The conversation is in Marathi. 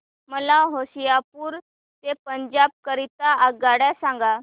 मला होशियारपुर ते पंजाब करीता आगगाडी सांगा